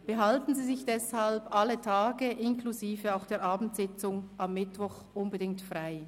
Behalten Sie sich deshalb alle Tage inklusive der Abendsitzung am Mittwoch unbedingt frei.